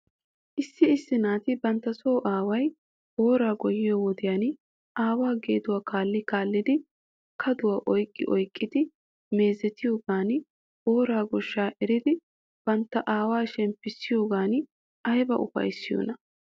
Issi issi naati bantta so aaway booraa goyyiyoo wodiyan aawaa geeduwaa kaalli kaallidi kaduwaa oyqqi oyqqidi meezetiyoogan booraa goshshaa eridi bantta aawaa shemppissiyoogan ayba ufayttiyoonaa?